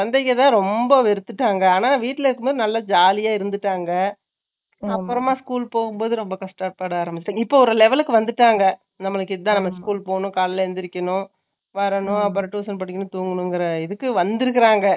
குழந்தைங்க ரொம்ப வெறுத்துட்டாங்க. ஆனா, வீட்டுல இருக்கும்போது, நல்லா jolly ஆ இருந்துட்டாங்க. அப்புறமா, school போகும்போது, ரொம்ப கஷ்டப்பட ஆரம்பிச்சாங்க. இப்ப, ஒரு level க்கு வந்துட்டாங்க. நம்மளுக்கு, இதுதான், நம்ம school போகணும். காலையில எந்திரிக்கணும். வரணும், அப்புறம் tuition படிக்கணும், தூங்கணும்ங்கிற, இதுக்கு வந்திருக்கறாங்க